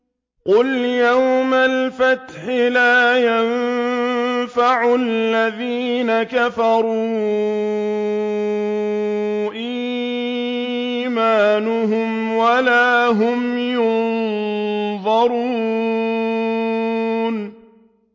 قُلْ يَوْمَ الْفَتْحِ لَا يَنفَعُ الَّذِينَ كَفَرُوا إِيمَانُهُمْ وَلَا هُمْ يُنظَرُونَ